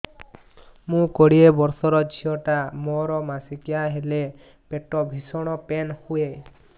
ମୁ କୋଡ଼ିଏ ବର୍ଷର ଝିଅ ଟା ମୋର ମାସିକିଆ ହେଲେ ପେଟ ଭୀଷଣ ପେନ ହୁଏ